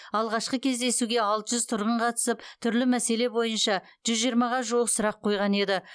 алғашқы кездесуге алты жүз тұрғын қатысып түрлі мәселе бойынша жүз жиырмаға жуық сұрақ қойған еді